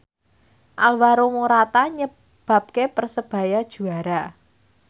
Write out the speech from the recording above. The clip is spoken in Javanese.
Alvaro Morata nyebabke Persebaya juara